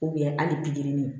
hali ni